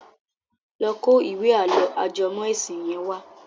Lọ kó ìwé àlọ́ ajẹmọ́ ẹ̀sìn yẹn wá.